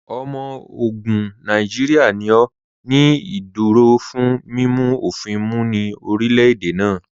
Ọmọ ogun Nàìjíríà ni ó ní ìdúró fún mímu ofìn mú ní orílẹ̀-èdè náà.